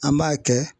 An b'a kɛ